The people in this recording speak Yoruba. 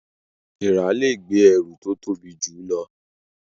Èèrà lẹ gbé ẹrù tó tobi jù ló